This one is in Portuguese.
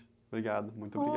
Obrigado, muito obrigado.